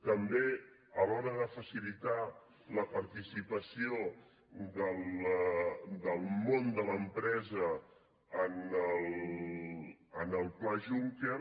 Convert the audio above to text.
també a l’hora de facilitar la participació del món de l’empresa en el pla juncker